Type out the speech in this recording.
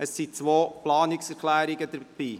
Es liegen zwei Planungserklärungen vor.